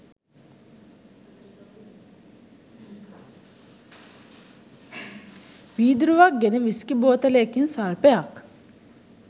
වීදුරුවක් ගෙන විස්කි බෝතලයකින් ස්වල්පයක්